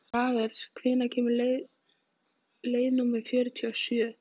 Jagger, hvenær kemur leið númer fjörutíu og sjö?